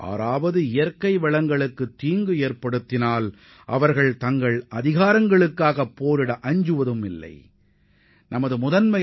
யாராவது தங்களது இயற்கை வளங்களுக்கு பாதிப்போ அல்லது சேதமோ ஏற்படுத்த முயன்றால் தங்களது உரிமைக்காக போராடவும் தயங்க மாட்டார்கள் என்பதையும் இது உணர்த்துகிறது